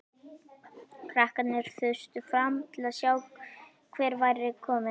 Krakkarnir þustu fram til að sjá hver væri kominn.